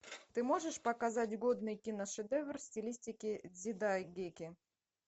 ты можешь показать годный киношедевр в стилистике дзидайгэки